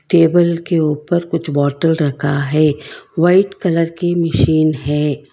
Table के ऊपर कुछ बोतल रखा है वाइट कलर की मशीन है।